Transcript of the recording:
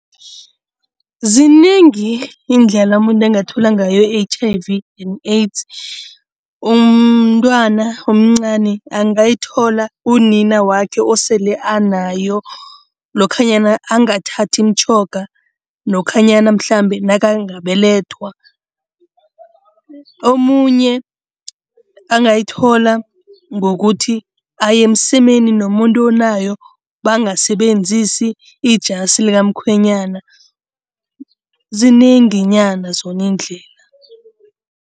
Zinengi iindlela umuntu angathola ngayo i-H_I_V and AIDS. Umntwana omncani angayithola unina wakhe osele anayo lokhanyana angathathi imitjhoga, lokhanyana mhlambe nakangabelethwa. Omunye angayithola ngokuthi aye emsemeni nomuntu onayo, bangasebenzisi ijasi likamkhwenyana, zinenginyana zona iindlela.